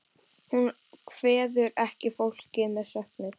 Hún kveður ekki fólkið með söknuði.